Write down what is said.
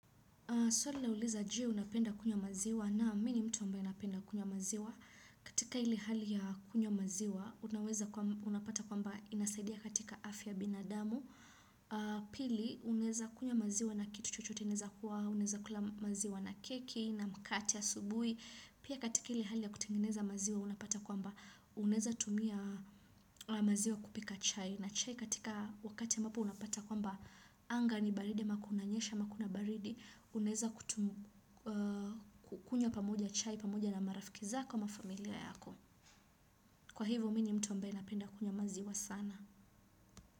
Swali lauliza je unapenda kunywa maziwa? Naam, mimi ni mtu ambaye anapenda kunywa maziwa. Katika ile hali ya kunywa maziwa, unaweza, unapata kwamba inasaidia katika afya ya binadamu. Pili, unaweza kunywa maziwa na kitu chochote, inaweza kuwa, unaweza kula maziwa na keki, na mkate asubuhi. Pia katika ile hali ya kutengeneza maziwa, unapata kwamba unaweza tumia maziwa kupika chai. Na chai katika wakati ambapo unapata kwamba anga ni baridi ama kunanyesha ama kuna baridi. Unaweza kukunya pamoja chai pamoja na marafiki zako ama familia yako. Kwa hivyo mimi ni mtu ambaye napenda kunywa maziwa sana.